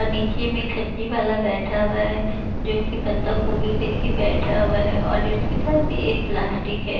नीचे में एक सब्जी वाला बैठा हुआ है जो कि को बंधा गोभी लेके बैठा हुआ है और उसके पास भी एक प्लास्टिक है।